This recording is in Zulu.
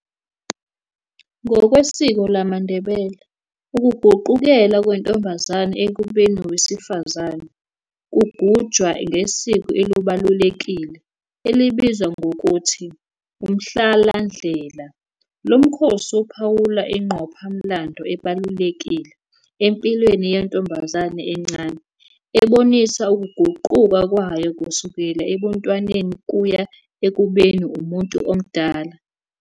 Ngokwesiko lamaNdebele, ukuguqukela kwentombazane ekubeni wesifazane kugujwa ngesiko elibalulekile elibizwa ngokuthi "uMhlalandlela". Lo mkhosi uphawula ingqopha-mlando ebalulekile empilweni yentombazane encane, ebonisa ukuguquka kwayo kusukela ebuntwaneni kuya ekubeni umuntu omdala.